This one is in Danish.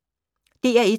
DR1